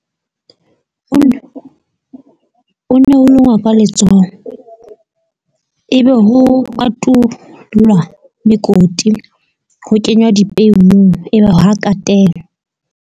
ka letsoho ebe ho kotulwa mekoti, ho kenywa dipeu, ebe ha katelwa.